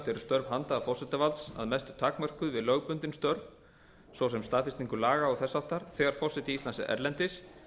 eru störf handhafa forsetavalds að mestu takmörkuð við lögbundin störf svo sem staðfestingu laga og þess háttar þegar forseti íslands er erlendis